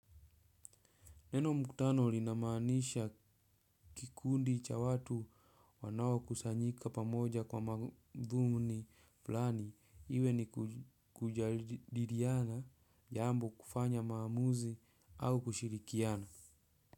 Neno mkutano linamanisha kikundi cha watu wanao kusanyika pamoja kwa madhumu ni flani, iwe ni kujadiriana, jambo kufanya maamuzi au kushirikiana.